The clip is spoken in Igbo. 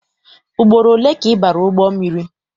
Ugboro ole ka ị bara ụgbọ mmiri?